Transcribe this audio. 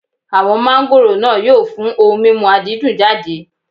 Àwọn máńgòrò náà yóò fún ohun mímu àdídùn jáde.